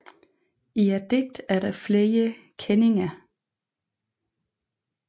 I digtet er der flere kenninger